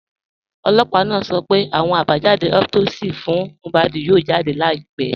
Ọlọ́pà naa sọ̀ pẹ̀ àwọn àbájàdé autopsi fún Mohbad yóò jáde láìpẹ̀.